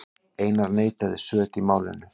Einar neitaði sök í málinu.